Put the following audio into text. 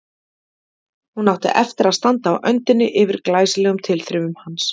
Hún átti eftir að standa á öndinni yfir glæsilegum tilþrifum hans.